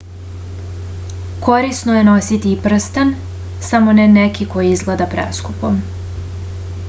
корисно је носити и прстен само не неки који изгледа прескупо